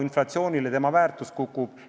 Inflatsiooni tõttu raha väärtus kukub.